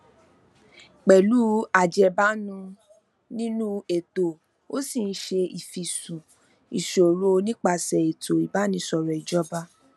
pẹlú ajẹbánu ninu eto ó ṣi ń ṣe ifisun ìṣòro nípasẹ ètò ìbánisọrọ ìjọba